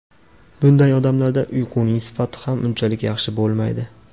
Bunday odamlarda uyquning sifati ham unchalik yaxshi bo‘lmaydi.